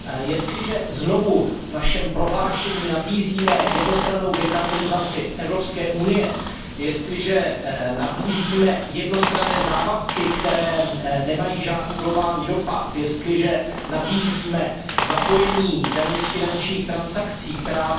Jestliže znovu v našem prohlášení nabízíme jednostrannou dekarbonizaci Evropské unie, jestliže nabízíme jednostranné závazky, které nemají žádný globální dopad, jestliže nabízíme zapojení daně z finančních transakcí, která